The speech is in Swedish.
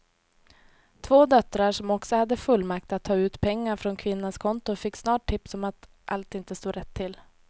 Två döttrar som också hade fullmakt att ta ut pengar från kvinnans konton fick snart tips om att allt inte stod rätt till.